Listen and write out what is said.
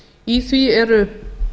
í því eru